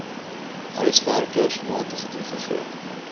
huiswerkers magtiging gee